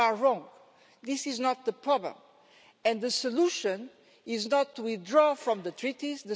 You are wrong. This is not the problem, and the solution is not to withdraw from the treaties.